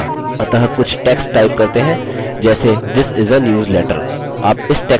अतः कुछ text type करते हैं जैसे this is a newsletter